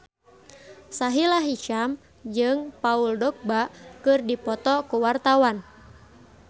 Sahila Hisyam jeung Paul Dogba keur dipoto ku wartawan